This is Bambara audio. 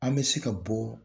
An bɛ se ka bɔ